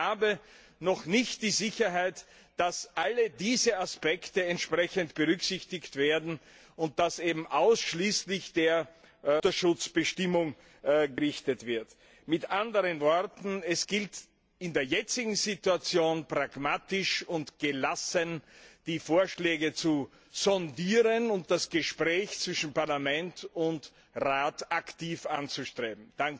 Ich habe noch nicht die Sicherheit, dass alle diese Aspekte entsprechend berücksichtigt werden, bisher war das Augenmerk ausschließlich auf die Mutterschutzbestimmungen gerichtet. Mit anderen Worten Es gilt, in der jetzigen Situation pragmatisch und gelassen die Vorschläge zu sondieren und das Gespräch zwischen Parlament und Rat aktiv anzustreben.